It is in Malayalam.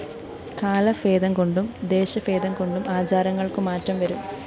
കാലഭേദംകൊണ്ടും ദേശഭേദംകൊണ്ടും ആചാരങ്ങള്‍ക്കു മാറ്റം വരും